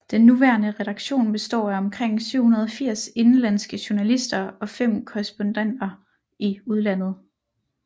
Den nuværende redaktion består af omkring 780 indenlandske journalister og 5 korrespondenter i udlandet